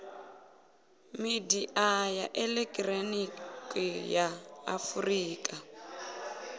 midia ya elekihironiki ya afurika